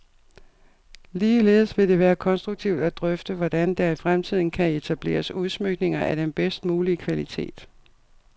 Ligeledes vil det være konstruktivt at drøfte, hvordan der i fremtiden kan etableres udsmykninger af den bedst mulige kvalitet.